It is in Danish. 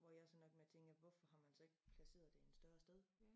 Hvor jeg så nok tænker hvorfor har man så ikke placeret det i et større sted